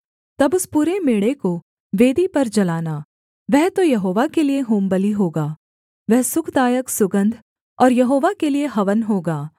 तब उस पूरे मेढ़े को वेदी पर जलाना वह तो यहोवा के लिये होमबलि होगा वह सुखदायक सुगन्ध और यहोवा के लिये हवन होगा